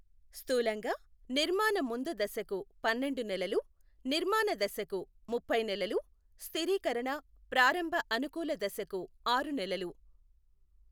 స్థూలంగా నిర్మాణ ముందు దశకు పన్నెండు నెలలు, నిర్మాణ దశకు ముప్పై నెలలు, స్థిరీకరణ, ప్రారంభ అనుకూల దశకు ఆరు నెలలు.